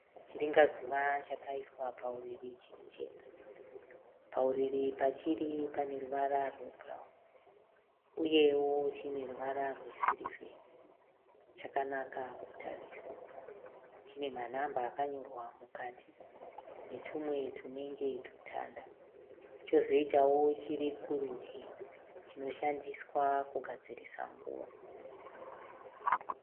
Chiringa zuva chakaiswa pauriri chiri chega. Pauiri pachiri pane ruvara rwe bhurauni. Uyewo chine ruvara rwe sirivheri. Chakanaka kutarisa. Chine manhamba akanyorwa mukati. Netumwe tunenge tutanda. Chozoitawo chiri kurudyi chino shandiswa kugadzirisa nguva.